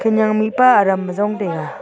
aga ma mihpa araam ajong taiga.